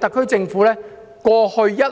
特區政府過往一直